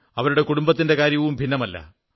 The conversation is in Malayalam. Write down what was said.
അവരുടെ കുടുംബത്തിന്റെ കാര്യവും ഭിന്നമല്ല